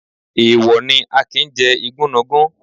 Èèwọ̀ ni, a kì ń jẹ igúnnugún.